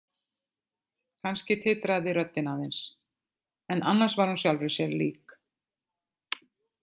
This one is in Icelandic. Kannski titraði röddin aðeins en annars var hún sjálfri sér lík.